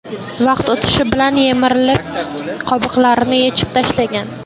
Vaqt o‘tishi bilan yemirilib, qobiqlarini yechib tashlagan.